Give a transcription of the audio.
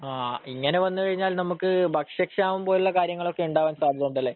ആ ഇങ്ങനെ വന്നുകഴിഞ്ഞാൽ നമുക്ക് ഭക്ഷ്യക്ഷാമം പോലുള്ള കാര്യങ്ങളൊക്കെ ഉണ്ടാവാൻ സാധ്യതയുണ്ടല്ലേ?